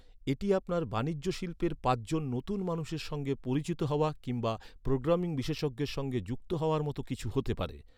এটি আপনার বাণিজ্যশিল্পে পাঁচ জন নতুন মানুষের সঙ্গে পরিচিত হওয়া কিংবা প্রোগ্রামিং বিশেষজ্ঞের সঙ্গে যুক্ত হওয়ার মতো কিছু হতে পারে।